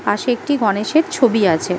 পাশে একটি গণেশের ছবি আছে ।